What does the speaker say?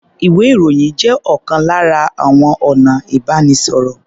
Ìwé-ìròyìn jẹ́ ọ̀kan lára àwọn ọ̀nà ìbánisọ̀rọ̀.